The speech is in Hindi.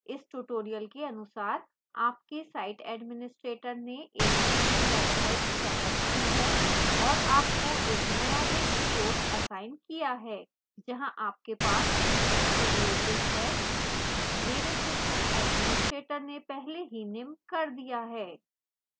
इस tutorial के अनुसार आपके site administrator ने एक moodle website सेटअप की है और आपको एक नया रिक्त course असाइन किया है जहां आपके पास teacher privileges है मेरे system administrator ने पहले ही निम्न कर दिया है